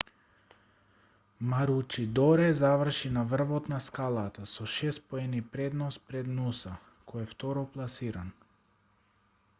маручидоре заврши на врвот на скалата со шест поени предност пред нуса кој е второпласиран